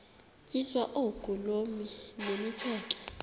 tyiswa oogolomi nemitseke